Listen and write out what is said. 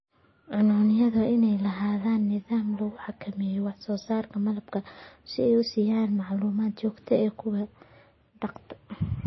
Cuncunyadu waa inay lahaadaan nidaam lagu xakameeyo wax soo saarka malabka oo ay siiyaan macluumaad joogto ah kuwa dhaqda.